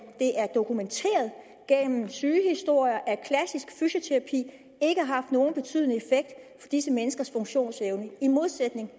er dokumenteret gennem sygehistorier at klassisk fysioterapi ikke har haft nogen betydende effekt for disse menneskers funktionsevne i modsætning